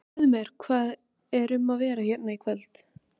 Segðu mér, hvað er um að vera hérna í kvöld?